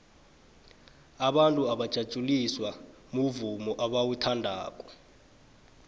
abantu bajatjuliswa muvumo abauthandako